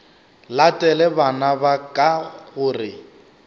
latele bana ba ka gore